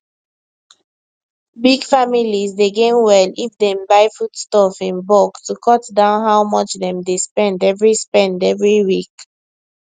big families dey gain well if dem buy foodstuff in bulk to cut down how much dem dey spend every spend every week